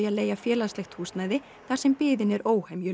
að leigja félagslegt húsnæði þar sem biðin er